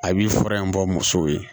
A bi fura in bɔ musow ye